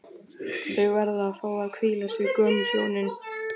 Þau verða að fá að hvíla sig, gömlu hjónin